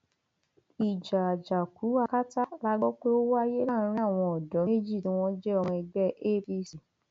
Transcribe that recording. ìjà àjàkú akátá la gbọ pé ó wáyé láàrin àwọn odò méjì tí wọn jẹ ọmọ ẹgbẹ apc